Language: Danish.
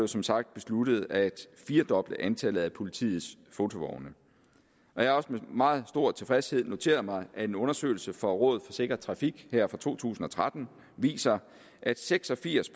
som sagt besluttet at firdoble antallet af politiets fotovogne jeg har også med meget stor tilfredshed noteret mig at en undersøgelse fra rådet for sikker trafik her fra to tusind og tretten viser at seks og firs